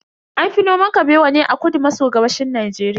An fi noman Kabewa ne a kudu maso gabashin Najeriya.